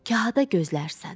Kahada gözlərsən.